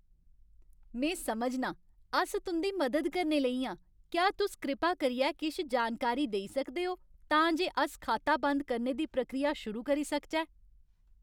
में समझनां। अस तुं'दी मदद करने लेई आं। क्या तुस कृपा करियै किश जानकारी देई सकदे ओ तां जे अस खाता बंद करने दी प्रक्रिया शुरू करी सकचै।